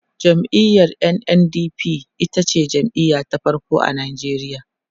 jam'iyar NNDP itace jam'iya ta farko a Nigeria